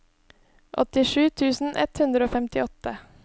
åttisju tusen ett hundre og femtiåtte